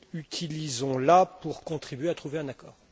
Utilisons la pour contribuer à trouver un accord.